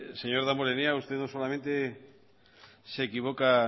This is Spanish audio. señor damborenea usted no solamente se equivoca